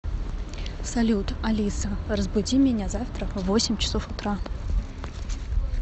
салют алиса разбуди меня завтра в восемь часов утра